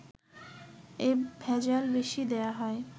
এ ভেজাল বেশি দেয়া হয়